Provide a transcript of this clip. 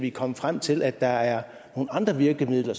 er kommet frem til at der er nogle andre virkemidler